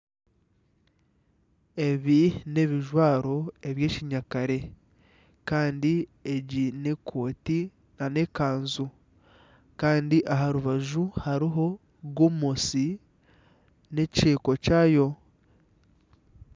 Ebi n'ebijwaro eby'ekinyakare kandi egi n'ekooti nana ekanju. Kandi aha rubaju hariho gomesi n'ekyeko kyayo.